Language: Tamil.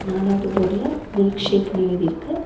நாலாவது போடுல மில்க் ஷேக்னு எழுதி இருக்கு.